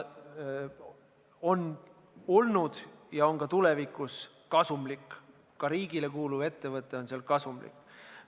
See on olnud ja on ka tulevikus kasumlik, ka riigile kuuluv ettevõte on kasumlik.